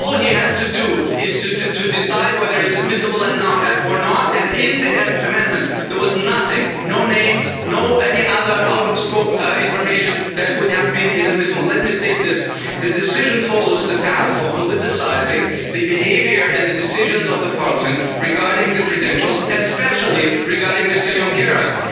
All he had to do is to decide whether it's admissible or not, and in the amendment, there was nothing no names, nor any other out of scope information that would have been inadmissible. Let me state this the decision follows the path of politicising the behaviour and the decisions of Parliament regarding credentials, especially regarding Mr Junqueras.